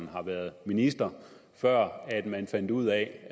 har været minister før man fandt ud af